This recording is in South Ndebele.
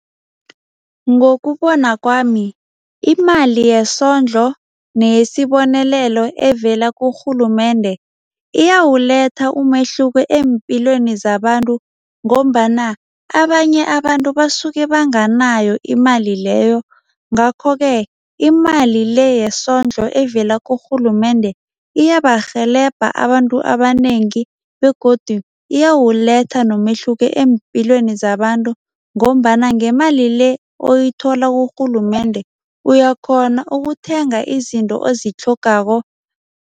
Ngokubona kwami, imali yesondlo neyesibonelelo evela kurhulumende iyawuletha umehluko eempilweni zabantu ngombana abanye abantu basuke banganayo imali leyo, ngakho-ke imali le yesondlo evela kurhulumende iyabarhelebha abantu abanengi begodu iyawuletha nomehluko eempilweni zabantu ngombana ngemali le oyithola kurhulumende uyakghona ukuthenga izinto ozitlhogako.